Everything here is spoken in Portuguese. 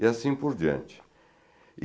E assim por diante.